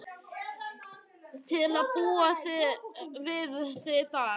Til að búa við þig þar.